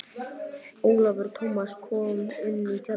Ólafur Tómasson kom inn í tjaldið.